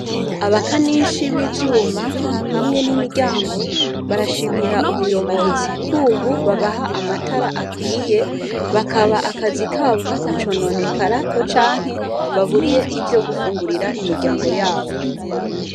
Abakanishi b’ivyuma hamwe n’imiryango, barashimira ubuyobozi k’ubu babaha amatara akwiye bakaba akazi kabo katacononekara ngo canke babure ivyo gufungurira imiryango yabo.